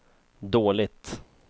dåligt